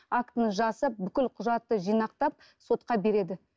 актіні жасап бүкіл құжатты жинақтап сотқа береді